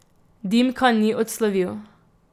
Dimka ni odslovil.